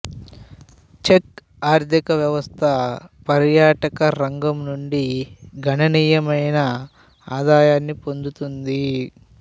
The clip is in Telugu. చెక్ ఆర్థికవ్యవస్థ పర్యాటక రంగం నుండి గణనీయమైన ఆదాయాన్ని పొందుతుంది